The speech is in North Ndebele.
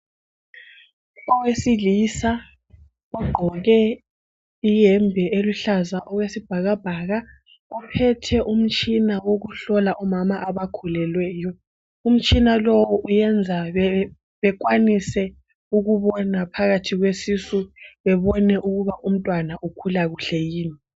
Owesilisa ogqoke iyembe eluhlaza okwesibhakabhaka ophethe umtshina wokuhlola omama abakhulelweyo. Umtshina lo uyenza bekwanise ukubona phakathi kwesisu, bebone ukuba umntwana ukhula kuhle yini